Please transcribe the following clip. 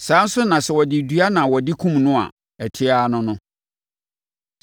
Saa ara nso na sɛ wɔde dua na wɔde kumm no a, ɛte ara ne no.